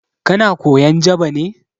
Kana koyan Jaba ne?